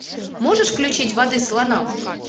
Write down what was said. можешь включить воды слонам